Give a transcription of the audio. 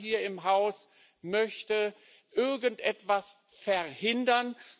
Keiner hier im Haus möchte irgendetwas verhindern.